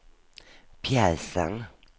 pjäsen